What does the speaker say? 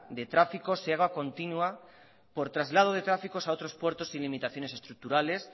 de tráfico se haga continua por traslado de tráficos a otros puertos sin limitaciones estructurales